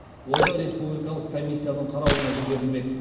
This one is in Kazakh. ол да республикалық комиясының қарауына жіберілмек